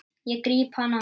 Ég gríp hana.